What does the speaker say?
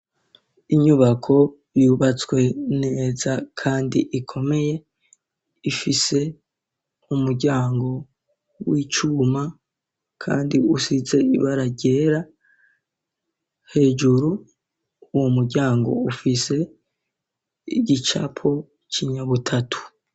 Inyubako yubatswe neza kandi ikomeye ifise umuryango w'icuma kandi usize ibara ryera hejuru uwo muryango ufise igicapo kinyabutatu.